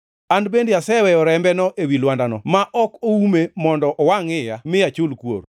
An bende aseweyo rembeno ewi lwandano ma ok oume mondo owangʼ iya, mi achul kuor.